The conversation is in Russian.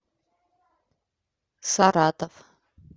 саратов